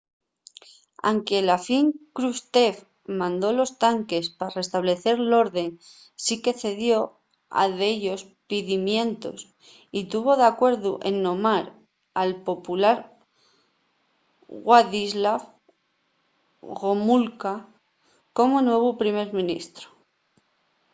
anque a la fin krushchev mandó los tanques pa restablecer l’orde sí que cedió a dellos pidimientos y tuvo d’acuerdu en nomar al popular wladyslaw gomulka como nuevu primer ministru